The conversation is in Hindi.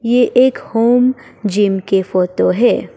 ये एक होम जिम के फोटो है।